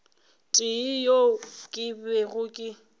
tee yeo ke bego ke